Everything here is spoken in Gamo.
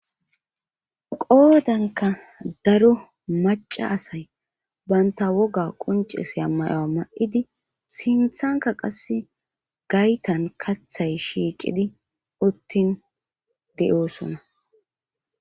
qoodanka daro maca asay banta woga quncesya mayoa ma7idi sinthanka qasse gaytan kathay shiiqidi uttin de7oosona